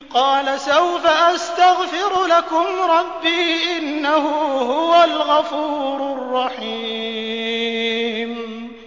قَالَ سَوْفَ أَسْتَغْفِرُ لَكُمْ رَبِّي ۖ إِنَّهُ هُوَ الْغَفُورُ الرَّحِيمُ